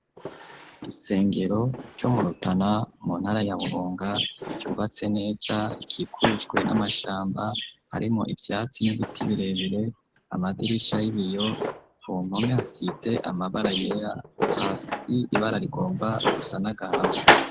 Isengero ryo murutana mu ntara ya burunga ryubatse neza ikikujwe n'amashamba harimo ivyatsi n'ibiti birebire amadirisha y'ibiyo ku mpome hasize amabara yera, hasi ibara rigomba gusa nagahama.